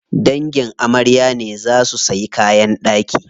Dangin amarya ne za suyi kayan ɗaki.